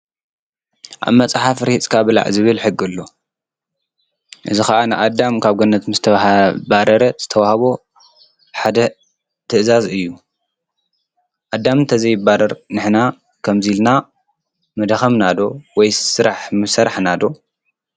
ኣብ መፅሓፍ ርሂፅካ ብላዕ ዝብል ሕጊ ኣሎ፡፡ እዚ ኸዓ ንኣዳም ካብ ገነት ምስተባረረ ዝተውሃቦ ሓደ ትእዛዝ እዩ፡፡ ኣዳም እንተዘይባረር ንሕና ከምዙይ ኢልና ምደኸምና ወይስ ስራሕ ምሰራሕና ዶ?